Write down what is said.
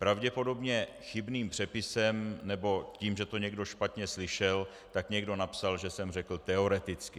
Pravděpodobně chybným přepisem nebo tím, že to někdo špatně slyšel, tak někdo napsal, že jsem řekl teoreticky.